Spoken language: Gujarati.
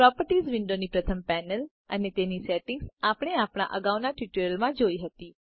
પ્રોપર્ટીઝ વિન્ડોનની પ્રથમ પેનલ અને તેની સેટિંગ આપણે અગાઉના ટ્યુટોરીયલમાં જોયી હતી